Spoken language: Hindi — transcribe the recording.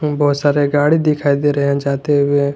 बहोत सारे गाड़ी दिखाई दे रहे हैं जाते हुए।